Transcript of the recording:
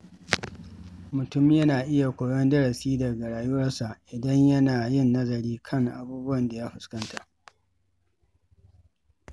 Mutum yana iya koyon darasi daga rayuwarsa idan yana yin nazari kan abubuwan da ya fuskanta.